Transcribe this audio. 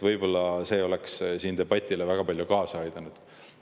Võib-olla see oleks siin debatile väga palju kaasa aidanud.